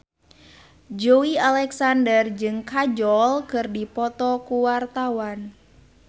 Joey Alexander jeung Kajol keur dipoto ku wartawan